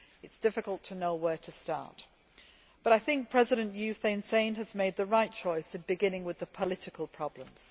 It is difficult to know where to start, but I believe that President U Thein Sein has made the right choice in beginning with the political problems.